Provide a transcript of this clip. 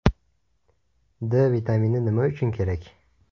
D vitamini nima uchun kerak?